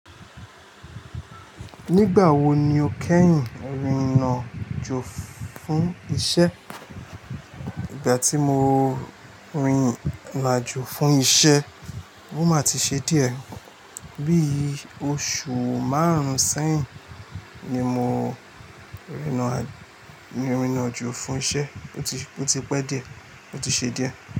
Nígbà wo ni o kẹ́yìn rìnrìn àjò fún isẹ́? Ìgbà tí mo rìnrìn àjò fún isẹ́, o máa ti ṣe díẹ̀. Bí i oṣù márùn-ún sẹ́yìn ni mo rìnrìn àjò fún isẹ́. O ti pé díẹ̀, o ti ṣe díẹ̀.